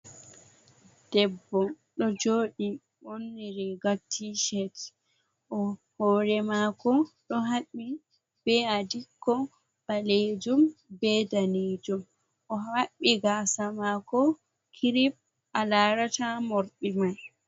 Debbo ɗo joɗi ɓorni riga tishet o hore mako ɗo haɓɓi be a dikko ɓalejum be danejum. o haɓɓi gasa mako kirip a larata morɗi mai.